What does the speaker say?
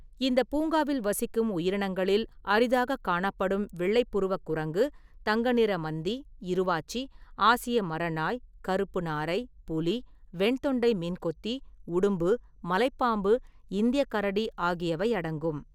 இந்தப் பூங்காவில் வசிக்கும் உயிரினங்களில் அரிதாகக் காணப்படும் வெள்ளைப் புருவக் குரங்கு, தங்க நிற மந்தி, இருவாச்சி, ஆசிய மரநாய், கருப்பு நாரை, புலி, வெண்தொண்டை மீன்கொத்தி, உடும்பு, மலைப் பாம்பு, இந்தியக் கரடி ஆகியவை அடங்கும்.